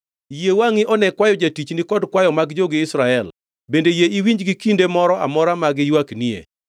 “Yie wangʼi one kwayo jatichni kod kwayo mag jogi Israel, bende yie iwinjgi kinde moro amora ma giywaknie.